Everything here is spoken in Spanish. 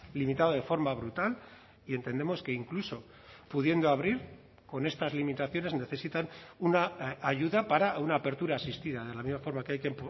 limitado de forma brutal y entendemos que incluso pudiendo abrir con estas limitaciones necesitan una ayuda para una apertura asistida de la misma forma que hay que